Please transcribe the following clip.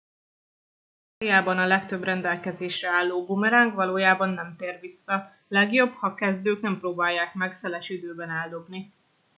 ausztráliában a legtöbb rendelkezésre álló bumeráng valójában nem tér vissza legjobb ha kezdők nem próbálják meg szeles időben eldobni